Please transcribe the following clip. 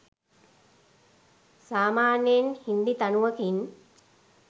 සාමාන්‍යෙන් හින්දි තනුව කින්